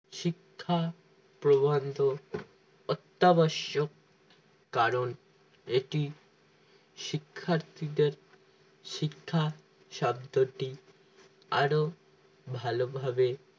শিক্ষা প্রবন্ধ অত্তাদর্শক কারণ এটি শিক্ষার্থীদের শিক্ষা শব্দটি আরো ভালোভাবে